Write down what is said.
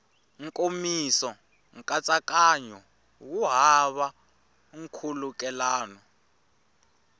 nkomiso nkatsakanyo wu hava nkhulukelano